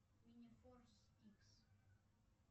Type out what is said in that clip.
мини форс икс